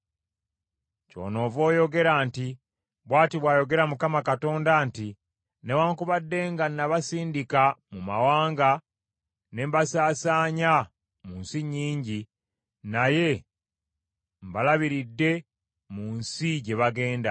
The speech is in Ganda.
“Kyonoova oyogera nti, ‘Bw’ati bw’ayogera Mukama Katonda nti, Newaakubadde nga nabasindika mu mawanga ne mbasaasaanya mu nsi nnyingi, naye mbalabiriridde mu nsi gye baagenda.’